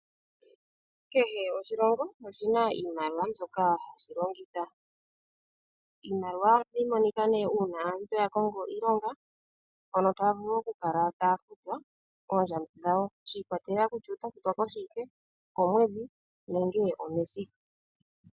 Kehe oshilongo shina iimaliwa yawo mbyoka hashi longitha. Iimaliwa ohayi monika ne una omuntu akongo iilonga mpoka taya vulu okukala haya futwa oondjambi dhawo shikwatelela kutya otafutwa koshiwike, okomwedhi nenge omesiku.